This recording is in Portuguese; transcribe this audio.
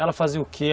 Ela fazia o que?